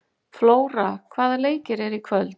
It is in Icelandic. Flóra, hvaða leikir eru í kvöld?